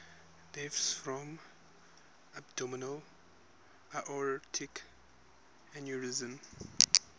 deaths from abdominal aortic aneurysm